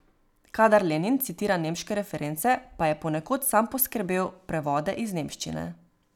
Kadar Lenin citira nemške reference, pa je ponekod sam poskrbel prevode iz nemščine.